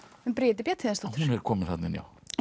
um Bríeti Bjarnhéðinsdóttur hún er komin þarna inn já